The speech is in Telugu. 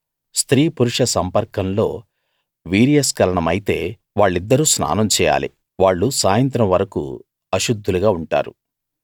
స్త్రీ పురుష సంపర్కంలో వీర్యస్కలనమైతే వాళ్ళిద్దరూ స్నానం చేయాలి వాళ్ళు సాయంత్రం వరకూ అశుద్ధులుగా ఉంటారు